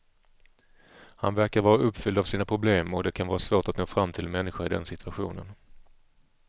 Han verkar vara uppfylld av sina problem och det kan vara svårt att nå fram till en människa i den situationen.